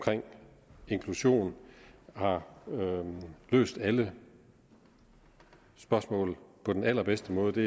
inklusion har løst alle spørgsmål på den allerbedste måde det